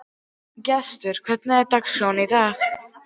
Gestur, hvernig er dagskráin í dag?